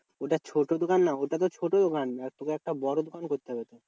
ওটা ছোট দোকান না। ওটা তো ছোট দোকান আর তোকে একটা বড় দোকান করতে হবে তো।